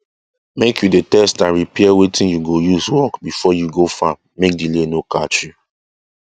make u dey test and repair watin u go use work before you go farm make delay no catch you